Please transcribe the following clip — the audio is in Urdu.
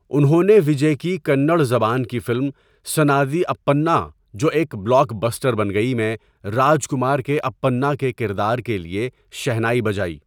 انہوں نے وجے کی کنڑ زبان کی فلم سنادی اپّنّا جو ایک بلاک بسٹر بن گئی, میں راجکمار کے اپّنّا کے کردار کے لیے شہنائی بجائی۔